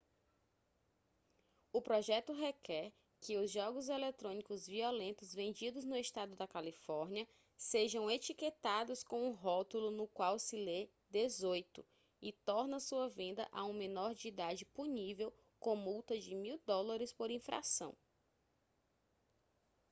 o projeto requer que os jogos eletrônicos violentos vendidos no estado da california sejam etiquetados com um rótulo no qual se lê 18 e torna sua venda a um menor de idade punível com multa de mil dólares por infração